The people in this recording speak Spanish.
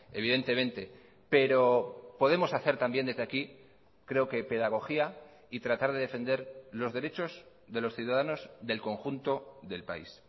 evidentemente pero podemos hacer también desde aquí creo que pedagogía y tratar de defender los derechos de los ciudadanos del conjunto del país